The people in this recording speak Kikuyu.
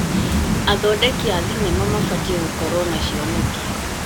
Athondeki a thenema mabatiĩ gũkorwo na cioneki.